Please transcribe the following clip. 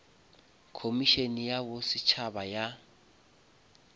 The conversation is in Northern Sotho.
khomišene ya bo setšhaba ya